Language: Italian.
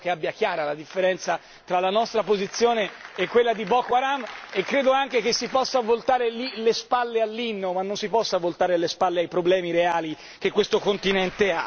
Spero che abbia chiara la differenza tra la nostra posizione e quella di Boko Haram e credo anche che si possa voltare le spalle all'inno, ma non si possa voltare le spalle ai problemi reali di questo continente.